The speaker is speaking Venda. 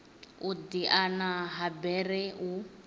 u diana ha bere u